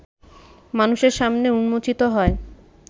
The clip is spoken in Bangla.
মানুষের সামনে উন্মোচিত হয়